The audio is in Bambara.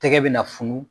Tɛgɛ bɛna funu